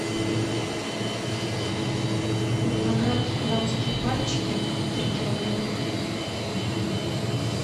виноград дамские пальчики три килограмма